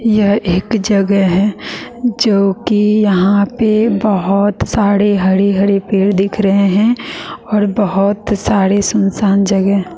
यह एक जगह है जोकि यहां पे बहोत सारे हरे हरे पेड़ दिख रहे हैं और बहोत सारे सुनसान जगह--